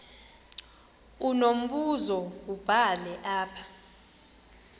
unombuzo wubhale apha